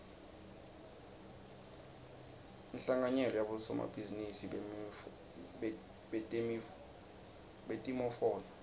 inhlanganyelo yabosomabhizinisi betimofolo